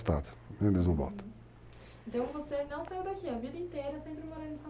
Uhum, então você não saiu daqui, a vida inteira sempre morando em